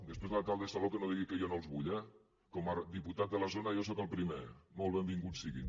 després l’alcalde de salou que no digui que jo no els vull eh com a diputat de la zona jo sóc el primer molt benvinguts siguin